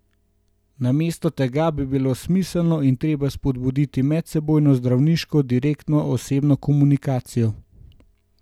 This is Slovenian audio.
Namesto tega bi bilo smiselno in treba spodbuditi medsebojno zdravniško direktno osebno komunikacijo.